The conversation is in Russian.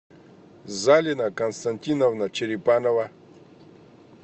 залина константиновна черепанова